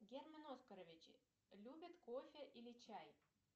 герман оскарович любит кофе или чай